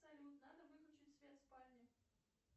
салют надо выключить свет в спальне